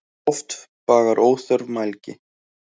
Oft bagar óþörf mælgi.